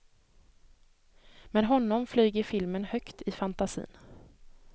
Med honom flyger filmen högt i fantasin.